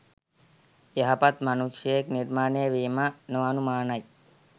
යහපත් මනුෂ්‍යයෙක් නිර්මාණය වීම නොඅනුමානයි